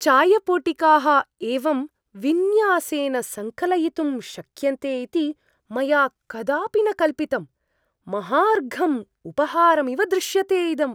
चायपोटिकाः एवं विन्यासेन सङ्कलयितुं शक्यन्ते इति मया कदापि न कल्पितम्। महार्घं उपहारम् इव दृश्यते इदम्।